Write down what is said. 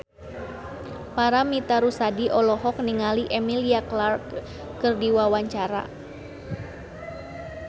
Paramitha Rusady olohok ningali Emilia Clarke keur diwawancara